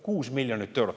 Kuus miljonit eurot!